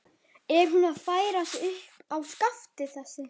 Er hún að færa sig upp á skaftið, þessi?